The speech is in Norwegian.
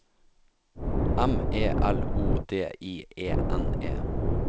M E L O D I E N E